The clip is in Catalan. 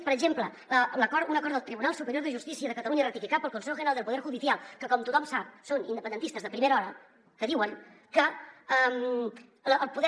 per exemple un acord del tribunal superior de justícia de catalunya ratificat pel consejo general del poder judicial que com tothom sap són independentistes de primera hora que diuen que el poder